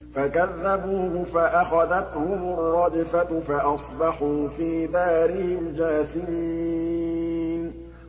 فَكَذَّبُوهُ فَأَخَذَتْهُمُ الرَّجْفَةُ فَأَصْبَحُوا فِي دَارِهِمْ جَاثِمِينَ